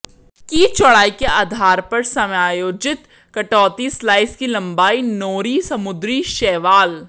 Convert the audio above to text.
की चौड़ाई के आधार पर समायोजित कटौती स्लाइस की लंबाई नोरी समुद्री शैवाल